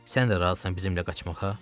Sən də razısan bizimlə qaçmağa?